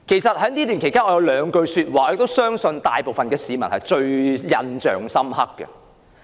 在此段期間，局長有兩句說話相信大部分市民都印象深刻。